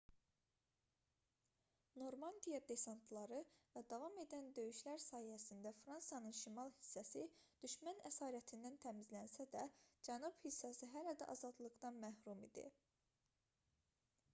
normandiya desantları və davam edən döyüşlər sayəsində fransanın şimal hissəsi düşmən əsarətindən təmizlənsə də cənub hissəsi hələ də azadlıqdan məhrum idi